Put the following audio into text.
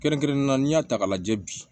Kɛrɛnkɛrɛnnenya n'i y'a ta k'a lajɛ bi